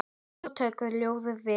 Svo tóku ljóðin við.